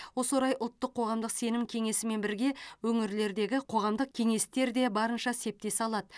осы орай ұлттық қоғамдық сенім кеңесімен бірге өңірлердегі қоғамдық кеңестер де барынша септесе алады